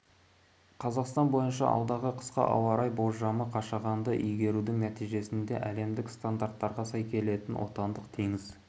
қазақстан бойынша алдағы қысқа ауа райы болжамы қашағанды игерудің нәтижесінде әлемдік стандарттарға сай келетін отандық теңіз